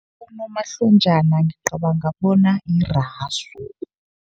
Unomahlonjana ngicabanga bona yirasu.